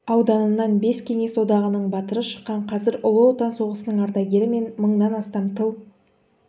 ауданынан бес кеңес одағының батыры шыққан қазір ұлы отан соғысының ардагері мен мыңнан астам тыл